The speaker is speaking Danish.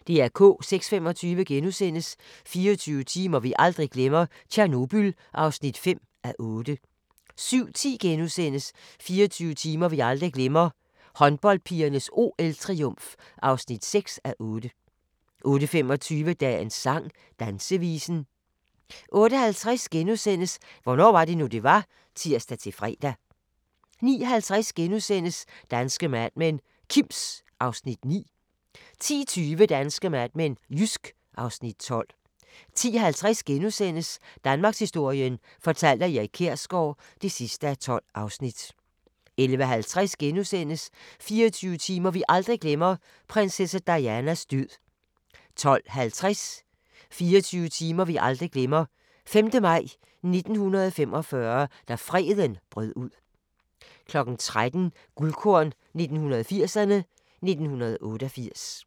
06:25: 24 timer vi aldrig glemmer: Tjernobyl (5:8)* 07:10: 24 timer vi aldrig glemmer: Håndboldpigernes OL-triumf (6:8)* 08:25: Dagens sang: Dansevisen 08:50: Hvornår var det nu, det var? *(tir-fre) 09:50: Danske Mad Men: Kims (Afs. 9)* 10:20: Danske Mad Men: Jysk (Afs. 12) 10:50: Danmarkshistorien fortalt af Erik Kjersgaard (12:12)* 11:50: 24 timer vi aldrig glemmer – prinsesse Dianas død * 12:20: 24 timer vi aldrig glemmer: 5. maj 1945 – da freden brød ud 13:00: Guldkorn 1980'erne: 1988